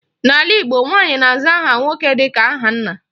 N'ala Igbo, nwaanyị na-aza aha nwoke dịka aha nna.